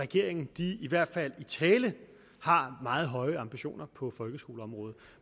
regeringen i hvert fald i tale har meget høje ambitioner på folkeskoleområdet